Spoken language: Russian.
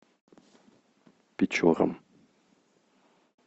печорам